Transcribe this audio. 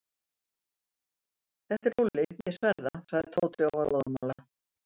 Þetta er Lúlli, ég sver það. sagði Tóti og var óðamála.